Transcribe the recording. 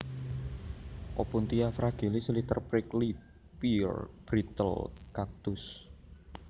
Opuntia fragilis Little Prickly Pear brittle cactus